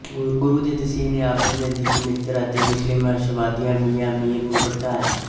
ਗੁਰੂ ਦੇ ਤਸੀਹੇ ਨੇ ਆਪਣੇ ਨਜ਼ਦੀਕੀ ਮਿੱਤਰ ਅਤੇ ਮੁਸਲਿਮ ਰਹੱਸਵਾਦੀ ਮੀਆਂ ਮੀਰ ਨੂੰ ਭੜਕਾਇਆ